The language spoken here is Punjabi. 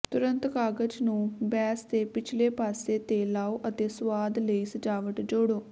ਤੁਰੰਤ ਕਾਗਜ਼ ਨੂੰ ਬੇਸ ਦੇ ਪਿਛਲੇ ਪਾਸੇ ਤੇ ਲਾਓ ਅਤੇ ਸੁਆਦ ਲਈ ਸਜਾਵਟ ਜੋੜੋ